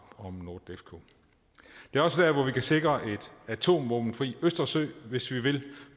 om nordefco det er også der hvor vi kan sikre en atomvåbenfri østersø hvis vi vil